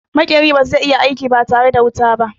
Maƙeri ba zai iya aiki ba tare da wuta ba.